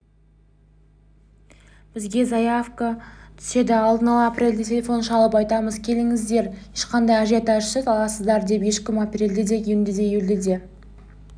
бізге заявка түседі алдын ала апрельде телефон шалып айтамыз келіңіздер ешқандай ажиотажсыз аласыңдар деп ешкім апрельде де июньде де июльде де